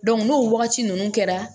n'o wagati ninnu kɛra